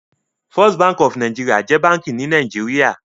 First Bank of NIgeria is a Bank in Nigeria